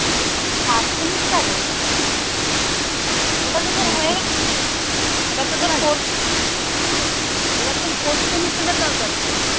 third সেমিস্টারের ওটা এবার তো fourth সেমিস্টারের দরকার তো